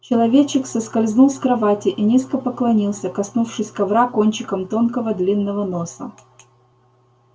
человечек соскользнул с кровати и низко поклонился коснувшись ковра кончиком тонкого длинного носа